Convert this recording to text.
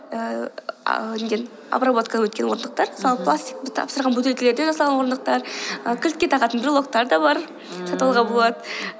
обработкадан өткен орындықтар мысалы пластикті тапсырған бөтелкелерден жасалған орындықтар ы кілтке тағатын брелоктар да бар ммм сатып алуға болады